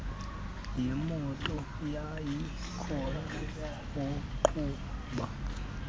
yeemoto yayikhona waqhuba